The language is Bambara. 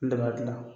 N de b'a gilan